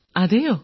അതെയോ